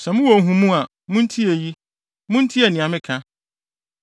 “Sɛ mowɔ nhumu a, muntie eyi; muntie nea meka.